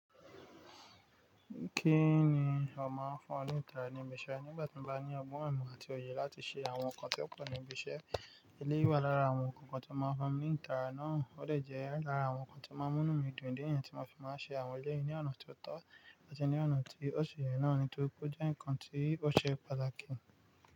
Kí ni ó máa ń fún ọ ní ìtara níbi iṣẹ́ nígbà tí mo bá ní ọgbọ́n. Imo àti òye láti ṣe àwọn nǹkan tí kò níbi iṣẹ́? Elé wà lára àwọn nǹkan tí ó máa ń fún mi ní ìtara náà. Ó lè jẹ́ lára àwọn nǹkan tí ó máa ń mú mí dùn idi niyen tí máa fi máa ṣe àwọn elé yìí ní ọ̀nà tó tọ́ àti ní ọ̀nà tí ó ṣe náà ni tó kún já ǹkan tí ó ṣe pàtàkì.